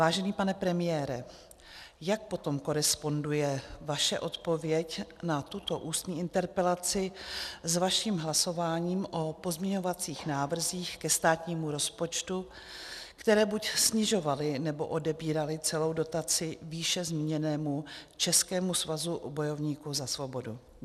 Vážený pane premiére, jak potom koresponduje vaše odpověď na tuto ústní interpelaci s vaším hlasováním o pozměňovacích návrzích ke státnímu rozpočtu, které buď snižovaly, nebo odebíraly celou dotaci výše zmíněnému Českému svazu bojovníků za svobodu?